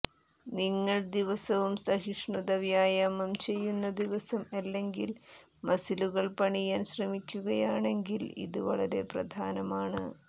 നിങ്ങൾ ദിവസവും സഹിഷ്ണുത വ്യായാമം ചെയ്യുന്ന ദിവസം അല്ലെങ്കിൽ മസിലുകൾ പണിയാൻ ശ്രമിക്കുകയാണെങ്കിൽ ഇത് വളരെ പ്രധാനമാണ്